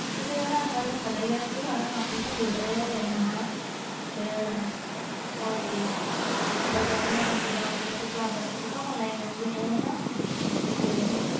ਠੀਕ ਹੈ ਅੱਜ ਕਲ ਸਾਰਾ ਕੰਮ ਕੰਪਿਊਟਰ ਤੇ ਆ ਹਾਣਾ ਤੇ ਹੋਰ ਕਿ ਬੱਚਿਆਂ ਦੀਆ ਕਲਾਸ online ਲੱਗ ਦੀਆ ਰਹਿਦੀਆ ਸੀ ਤੇ